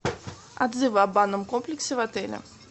отзывы о банном комплексе в отеле